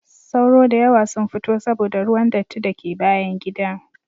Sauro da yawa sun fito saboda ruwan datti da ke bayan gida.